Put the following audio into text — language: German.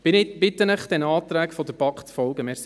Wir bitten Sie, diesen Anträgen der BaK zu folgen.